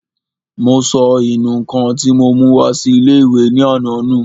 Mo sọ ìnù-ǹkan tí mo mú wá sí ilé-ìwé ní àná nù